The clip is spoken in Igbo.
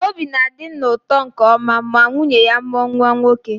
Obi na-adị nna ụtọ nke ọma ma nwunye ya mụọ nwa nwoke.